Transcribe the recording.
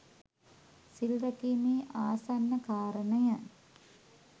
සිල් රැකීමේ ආසන්න කාරණය